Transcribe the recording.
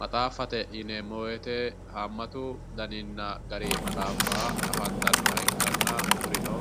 Maxaafate yinneemmo woyte haamatu gari maxaafa afantanoha ikkanna kurino